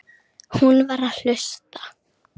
Hún var að hlusta.